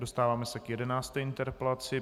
Dostáváme se k jedenácté interpelaci.